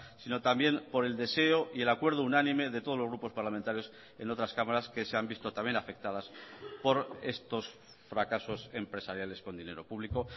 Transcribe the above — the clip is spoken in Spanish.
sino también por el deseo y el acuerdo unánime de todos los grupos parlamentarios en otras cámaras que se han visto también afectadas por estos fracasos empresariales con dinero público